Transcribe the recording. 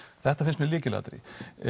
þetta finnst mér lykilatriði